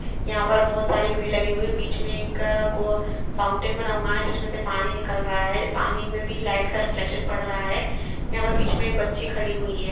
यहाँ पर बहोत सारी भीड़ लगी हुई है बिच में एक गो फाउंटेन बना हुआ है जिसमें से पानी निकल रहा है पानी में भी लाइट का रिफ्लेक्शन पड़ रहा है यहाँ पर बीच में एक बच्ची खड़ी हुई है।